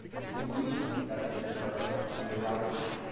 It means that we are on the right